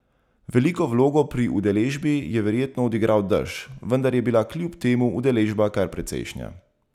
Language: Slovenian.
Veliko vlogo pri udeležbi je verjetno odigral dež, vendar je bila kljub temu udeležba kar precejšnja.